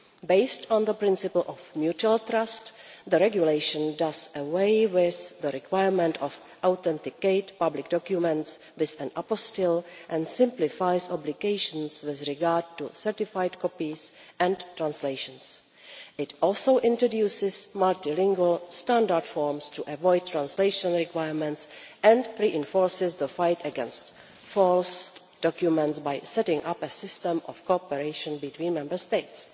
Based on the principle of mutual trust, the regulation does away with the requirement to authenticate public documents with an apostille and simplifies obligations with regard to certified copies and translations. It also introduces multilingual standard forms to avoid translation requirements and reinforces the fight against false documents by setting up a system of cooperation between Member States.